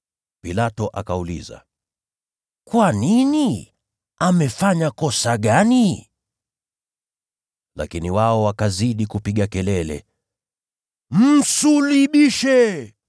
Pilato akauliza, “Kwa nini? Amefanya kosa gani?” Lakini wao wakazidi kupiga kelele, wakisema, “Msulubishe!”